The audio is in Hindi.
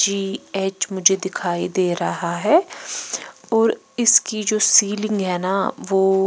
जी_एच मुझे दिखाई दे रहा है और इसकी जो सीलिंग है ना वो--